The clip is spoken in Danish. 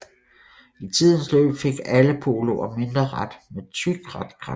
I tidens løb fik alle Poloer mindre rat med tyk ratkrans